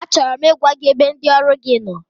Achọrọ m ịgwa gị ebe ndị ọrụ gi nọ,